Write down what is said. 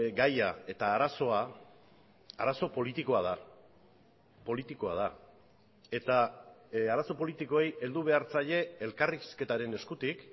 gaia eta arazoa arazo politikoa da politikoa da eta arazo politikoei heldu behar zaie elkarrizketaren eskutik